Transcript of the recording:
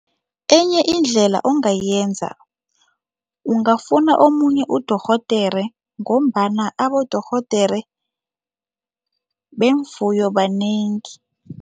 Enye indlela ongayenza, ungafuna omunye udorhodere ngombana abodorhodere beemfuyo banengi.